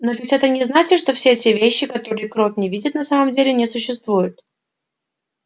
но ведь это не значит что все те вещи которых крот не видит на самом деле не существуют